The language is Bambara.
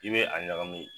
I bɛ a ɲagami